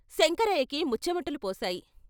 శంకరయ్యకి ముచ్చెమటలు పోశాయి.